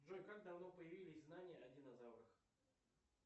джой как давно появились знания о динозаврах